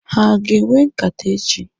Ha aga enwe nkata echi?